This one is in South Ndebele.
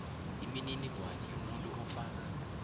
imininingwana yomuntu ofaka